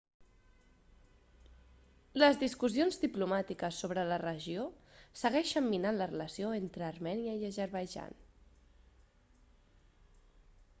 les discussions diplomàtiques sobre la regió segueixen minant la relació entre armènia i azerbaidjan